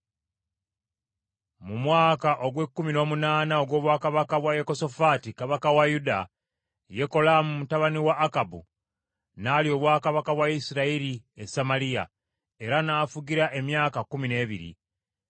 Mu mwaka ogw’ekkumi n’omunaana ogw’obwakabaka bwa Yekosafaati kabaka wa Yuda, Yekolaamu mutabani wa Akabu n’alya obwakabaka bwa Isirayiri e Samaliya, era n’afugira emyaka kkumi n’ebiri.